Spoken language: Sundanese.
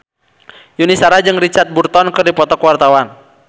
Yuni Shara jeung Richard Burton keur dipoto ku wartawan